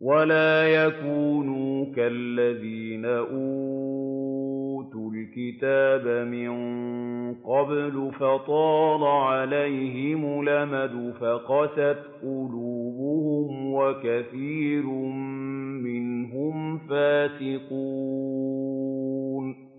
وَلَا يَكُونُوا كَالَّذِينَ أُوتُوا الْكِتَابَ مِن قَبْلُ فَطَالَ عَلَيْهِمُ الْأَمَدُ فَقَسَتْ قُلُوبُهُمْ ۖ وَكَثِيرٌ مِّنْهُمْ فَاسِقُونَ